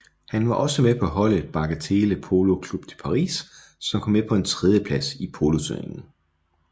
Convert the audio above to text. Han var med på holdet Bagatelle Polo Club de Paris som kom på en tredjeplads i poloturneringen